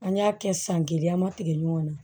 An y'a kɛ san gɛlɛya ma tigɛ ɲɔgɔn na